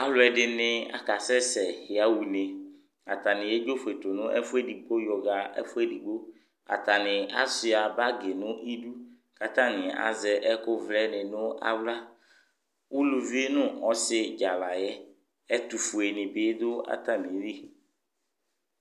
Alʋɛdɩnɩ akasɛ sɛ yaɣ'une : atanɩ yedzofue tʋ n'ɛfʋ edigbo yɔɣa ɛfʋ edigbo ; atanɩ asʋɩa bagɩ nʋ idu, k'atanɩ azɛ ɛkʋvlɛnɩ nʋ aɣla Uluvi nʋ ɔsɩ dzaa layɛ , ɛtʋfue bɩ dʋ atamili